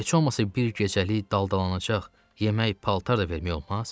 Heç olmasa bir gecəlik daldalanacaq, yemək, paltar da vermək olmaz?